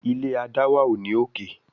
ilé adáwà o ní òkè.